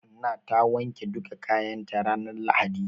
Hanna ta wanke duka kayan ta ranar lahadi.